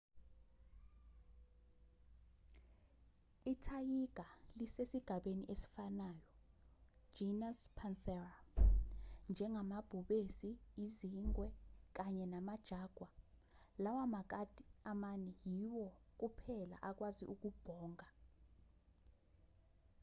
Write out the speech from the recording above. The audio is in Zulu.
ithayiga lisesigabeni esifanayo genus panthera njengamabhubesi izingwe kanye nama-jaguar. lawa makati amane yiwo kuphela akwazi ukubhonga